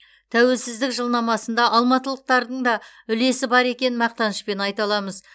тәуелсіздік жылнамасында алматылықтардың да үлесі бар екенін мақтанышпен айта аламыз